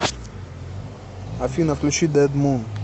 афина включи дэдмун